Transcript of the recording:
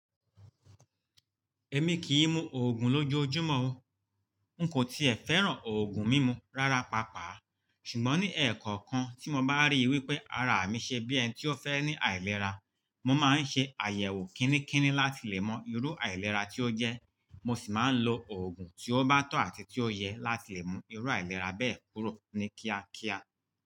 Èmi kì í mu òògùn lójoojúmọ́ o, n kò ti è fẹ́ràn òògùn mímu rárá pàápàá. Ṣùgbọ́n ní ẹ̀ẹ̀kọ̀kan tí mo bá ríi wípé ara mi ṣe bí ẹni tí ó fẹ́ ní àìlera, mo máa ń ṣe àyẹ̀wò kínníkínní láti lè mọ irú àìlera tí ó jẹ́, mo sì máa ń lo òògùn tí ó bá tọ̀ àti tí ó yẹ láti lè mú irú àìlera bẹ́ẹ̀ kúrò ní kíákíá.